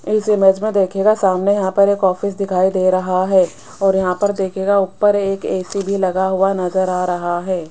इस इमेज देखिएगा सामने यहां पर एक ऑफिस दिखाई दे रहा है और यहां पर देखिएगा ऊपर एक ए_सी भी लगा हुआ नजर आ रहा है।